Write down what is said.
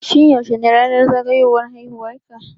Shin yaushe ne ranar zagayowan haiwuwar ka